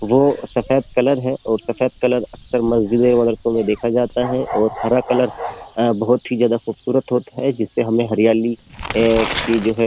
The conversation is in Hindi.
वो सफेद कलर है और सफेद कलर अक्सर मस्जिदें मदरसों में देखा जाता है और हरा कलर बहुत ही ज्यादा खूबसूरत होता है जिससे हमें हरियाली की जो है --